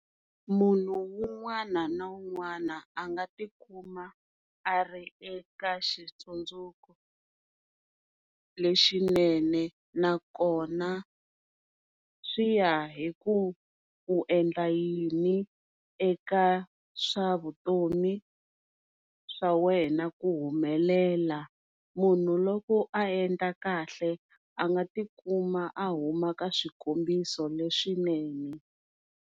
Munhu un'wana na wun'wana anga tikuma a ri eka xitsundzuko lexinene na kona swiya hi ku u endla yini eka swa vutomi swa wena ku humelela, munhu loko a endla kahle a nga ti kuma a huma ka swikombiso leswi swinene.